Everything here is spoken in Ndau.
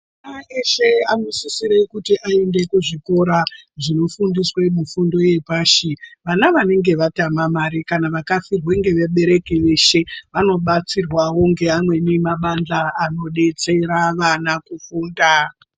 Ana eshe anosisira kuti aende kuzvikora zvinofundiswe mifundo yepashi vana vanenge vatama mari kana vakafirwa ngevabereki veshe vanobatsirwawo ngeamweni mabandla anodetsera ana kufunda.